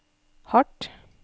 hardt